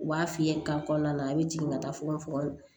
U b'a f'i ye ka kɔnɔna na a bɛ jigin ka taa fogofogo la